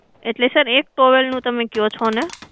એટલે sir એક towel નું તમે કહો છો ને?